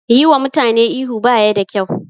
Yi wa mutane ihu baya da kyau